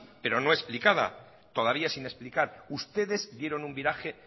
pero no explicada todavía sin explicar ustedes dieron un viraje